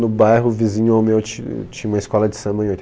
No bairro vizinho ao meu ti, tinha uma escola de samba em